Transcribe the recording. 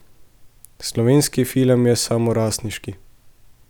Slovenski film je samorastniški.